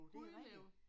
Hundelev